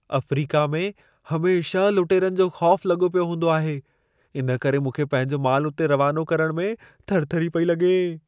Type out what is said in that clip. Africa में हमेशह लुटेरनि जो ख़ौफ़ लॻो पियो हूंदो आहे। इन करे मूंखे पंहिंजो मालु उते रवानो करण में थरथरी पेई लॻे।